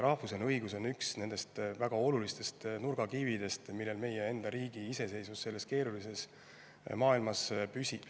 Rahvusvaheline õigus on üks väga olulistest nurgakividest, millel meie enda riigi iseseisvus selles keerulises maailmas püsib.